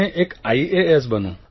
અને એક આઇએએસ બનું